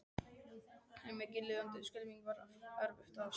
En mikið lifandis skelfing var erfitt að sofna.